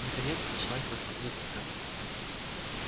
наконец началась высадка